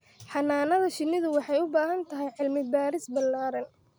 Xannaanada shinnidu waxay u baahan tahay cilmi baaris ballaaran.